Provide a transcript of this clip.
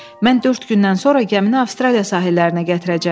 Mən dörd gündən sonra gəmini Avstraliya sahillərinə gətirəcəm.